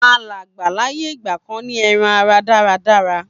àláǹgbá láyé ìgbàkan ní eran ara dáradára